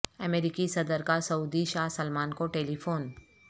امریکی صدر کا سعودی شاہ سلمان کو ٹیلی فون